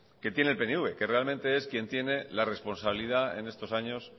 que tiene el pnv que realmente es quien tiene la responsabilidad en estos años